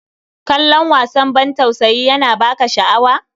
Kallon wasan ban tausayi yana ba ka sha'awa?